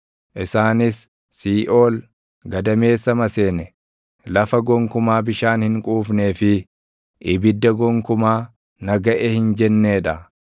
isaanis Siiʼool, gadameessa maseene, lafa gonkumaa bishaan hin quufnee fi ibidda gonkumaa, ‘Na gaʼe!’ hin jennee dha.